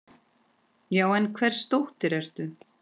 Já, en hvers dóttir ertu?